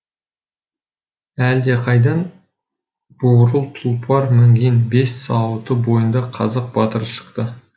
әлдеқайдан бурыл тұлпар мінген бес сауыты бойында қазақ батыры шықты